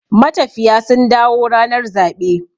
matafiya sun dawo ranar zaɓe